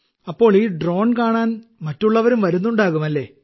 അപ്പോൾ ഈ ഡ്രോൺ കാണാൻ മറ്റുള്ളവരും വരുന്നുണ്ടാകും അല്ലേ